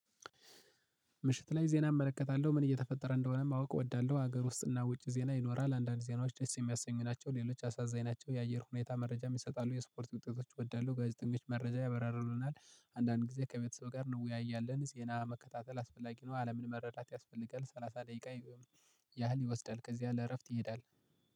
ምሽት ላይ ዜና እመለከታለሁ ምን እየተፈጠረ እንደሆነ ማወቅ እወዳለሁ። ሀገር ውስጥና ውጪ ዜና ይኖራል። አንዳንድ ዜናዎች ደስ የሚያሰኙ ናቸው። ሌሎች አሳዛኝ ናቸው። የአየር ሁኔታ መረጃ ይሰጣሉ። የስፖርት ውጤቶች እወዳለው። ጋዜጠኞች መረጃ ያብራሩልናል አንዳንድ ጊዜ ከቤተሰብ ጋር ነው? ወይ ያየን ዜና መከታተል አስፈላጊ ነው። አለምን መረዳት ያስፈልጋል ሰላሳ ደቂቃ ያህል ይወስዳል። ከዚህ ያለ እረፍት ይሄዳል።